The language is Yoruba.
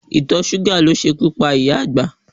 Ìtọ̀ṣúgà ló ṣekú pa ìyá àgbà.